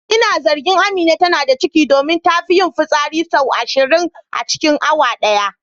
Ina zargin Amina tana da ciki domin tana fi yin fitsari sau ashirin a cikin awa daya.